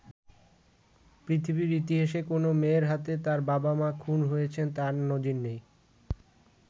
পৃথিবীর ইতিহাসে কোনো মেয়ের হাতে তার বাবা-মা খুন হয়েছেন তার নজির নেই।